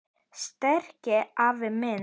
Sterki afi minn.